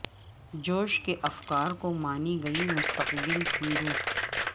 جوش کے افکار کو مانے گی مستقبل کی روح